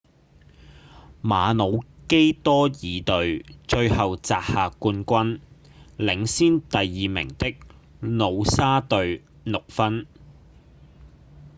馬魯基多爾隊最後摘下冠軍領先第二名的努沙隊六分